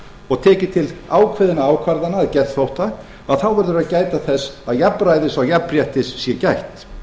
og tekið til ákveðinna ákvarðana að geðþótta að þá verður að gæta þess að jafnræði og jafnréttis sé gætt